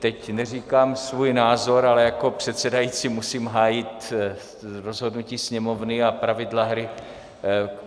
Teď neříkám svůj názor, ale jako předsedající musím hájit rozhodnutí Sněmovny a pravidla hry.